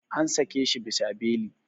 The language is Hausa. An sake shi bisa beli.